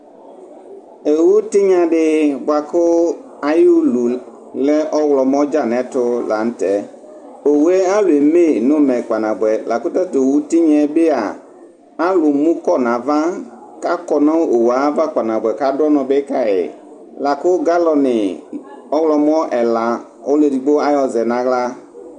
Owʋ tinyadi bʋakʋ ayʋ ulu lɛ ɔwlɔmɔ dza nʋ ɛtʋ lanʋ tɛ owʋe alʋ eme nʋ umɛ kpa nabʋɛ lakʋ tatʋ owʋ tinya yɛ bia alʋ mʋkɔ nʋ ava akɔ nʋ owʋe ayʋ ava kpa nabʋɛ kʋ adʋ ʋnɔ bi kayi lakʋ galɔni ɔwlɔmɔ ɛna ɔlʋ edigbo ayɔzɛ nʋ aɣla